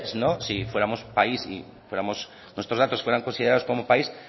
si fuéramos país y nuestros datos fueran consideramos como país